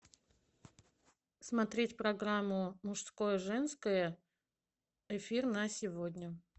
смотреть программу мужское женское эфир на сегодня